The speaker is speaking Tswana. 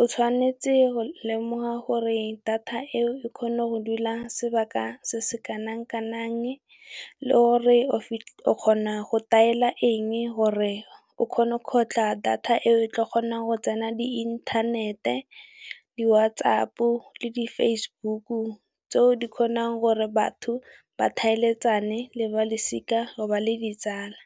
O tshwanetse go lemoga gore data eo e kgone go dula sebaka se se kanang kanang, le gore o kgona go daela eng gore o kgone go kgotlha data e o tla kgonang go tsena di inthanete, di whatsApp le di Facebook. Tseo di kgonang gore batho ba tlhaeletsana le balosika ba le ditsala.